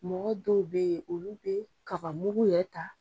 Mɔgɔ dɔw be yen, olu be kabamugu yɛrɛ ta